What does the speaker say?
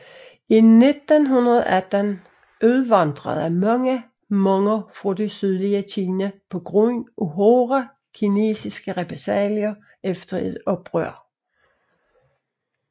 I 1918 udvandrede mange Hmonger fra det sydlige Kina på grund af hårde kinesiske repressalier efter et oprør